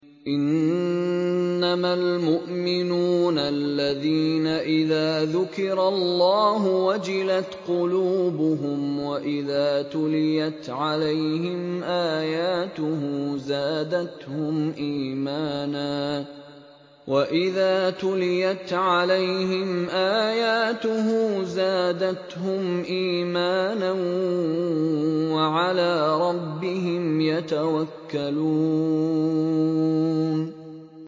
إِنَّمَا الْمُؤْمِنُونَ الَّذِينَ إِذَا ذُكِرَ اللَّهُ وَجِلَتْ قُلُوبُهُمْ وَإِذَا تُلِيَتْ عَلَيْهِمْ آيَاتُهُ زَادَتْهُمْ إِيمَانًا وَعَلَىٰ رَبِّهِمْ يَتَوَكَّلُونَ